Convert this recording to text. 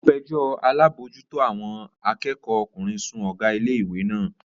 Ó fẹjọ́ alábòójútó àwọn akẹ́kọ̀ọ́ ọkùnrin sun Ọ̀gá ilé ìwé lánàá